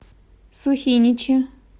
сухиничи